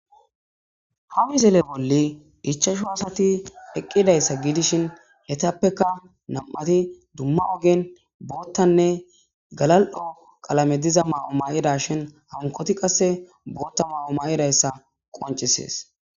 hawizele bolli ichashu aasati eqqidayssa giidishin hetappeka nam7ati dumma ogen boottanne galal7o qalame diza maa7o maaqida shin hankoti qasse bootta maa7o maa7idayssa qoncisees